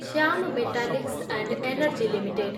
Shyam metallics and energy limited